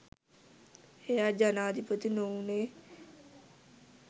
එයා ජනාධිපති නොවුණේ